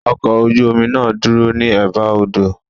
Ọkọ̀ ojú omi náà dúró ní Ẹ̀ba odò.